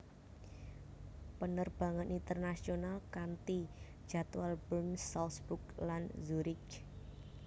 Penerbangan internasional kanti jadwal Bern Salzburg lan Zurich